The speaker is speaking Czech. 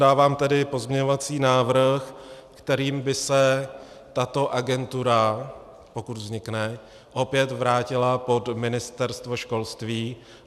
Dávám tedy pozměňovací návrh, kterým by se tato agentura, pokud vznikne, opět vrátila pod Ministerstvo školství.